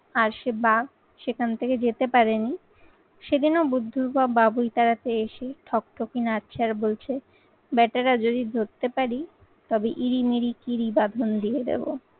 আর সে বাঘ সেখান থেকে যেতে পারেনি সেদিনও বুদ্ধির বাপ বাবুই তাড়াতে এসে ঠকঠকি নাচছাড় বলছে ব্যাটারা যদি ধরতে পারি তবে ইরিমিরি কিরি বাঁধন দিয়ে দেবো।